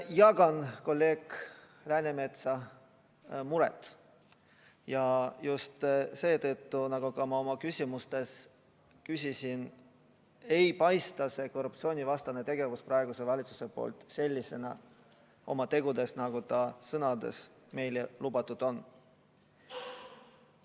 Jagan kolleeg Läänemetsa muret ja just seetõttu, et nagu ma oma küsimustes viitasin, ei paista see korruptsioonivastane tegevus praeguse valitsuse poolt selline, nagu sõnades meile lubatud on.